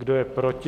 Kdo je proti?